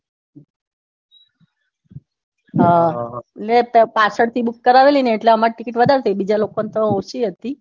ને પાછળથી book કરાવેલીને તો અમારે ticket વધારે થઇ બીજા લોકોને તો ઓછી હતી